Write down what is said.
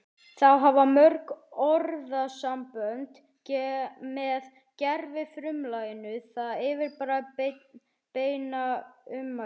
Þá hafa mörg orðasambönd með gervifrumlaginu það yfirbragð beinna ummæla